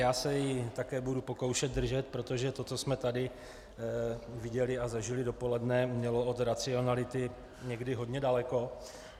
Já se jí také budu pokoušet držet, protože to, co jsme tady viděli a zažili dopoledne, mělo od racionality někdy hodně daleko.